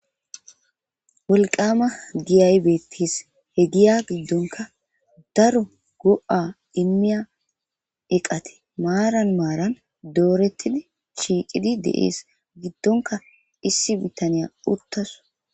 Wolqama giyaybeettis he giya giddonka daro go'a immiya iqate maaran maaran doorettidi shiicidi deees giddonka issi bitaniya uttaso.